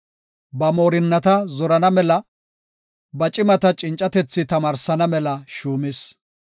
Ba moorinnata zorana mela, ba cimata cincatethi tamaarsana mela shuumis.